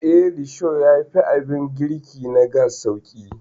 Eh, risho yafi abin girki na gas sauƙi.